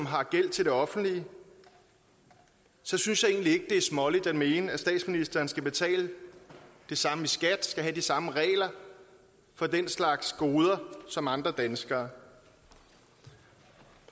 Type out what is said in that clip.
har gæld til det offentlige så synes jeg egentlig det er småligt at mene at statsministeren skal betale det samme i skat og have de samme regler for den slags goder som andre danskere